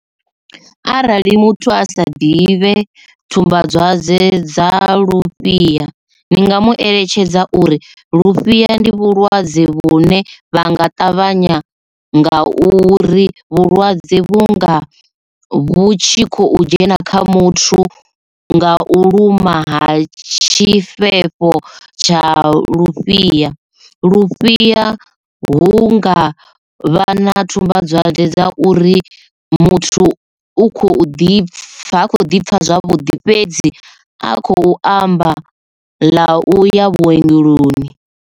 Arali muthu a sa ḓivhe tsumbadzwadze dza lufhia ni nga mu eletshedza uri lufhia ndi vhulwadze vhune vha nga ṱavhanya nga uri vhulwadze vhunga vhutshi khou dzhena kha muthu nga u luma ha tshifhefho tsha lufhia. Lufhia hunga vha na tsumbadzwadze dza uri muthu u khou ḓipfa hakho ḓi pfha zwavhuḓi fhedzi a khou amba ḽa u ya vhuongeloni.